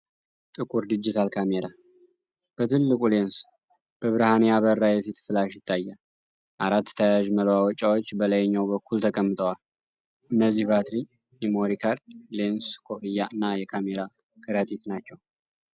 ጥቁር ዲጂታል ካሜራ፣ በትልቁ ሌንስ በብርሃን ያበራ የፊት ፍላሽ ይታያል። አራት ተያያዥ መለዋወጫዎች በላይኛው በኩል ተቀምጠዋል፤ እነዚህም ባትሪ፣ ሜሞሪ ካርድ፣ ሌንስ ኮፈያ እና የካሜራ ከረጢት ናቸው።